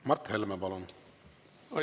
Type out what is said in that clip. Mart Helme, palun!